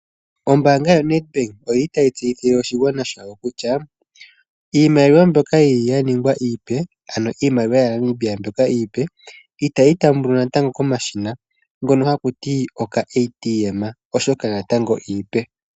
Ombaanga yo NET Bank oyili tayi tseyithile oshigwana shawo kutya . Iimaliwa mbyoka yili ya ningwa iipe ano iimaliwa ya Namibia mbyoka iipe. Itayi taambwa natango komashina ngono haku tiwa uuATM oshoka natango iipe.